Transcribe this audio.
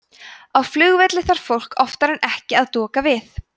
á flugvelli þarf fólk oftar en ekki að doka við